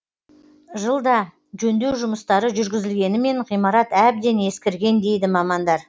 жылда жөндеу жұмыстары жүргізілгенімен ғимарат әбден ескірген дейді мамандар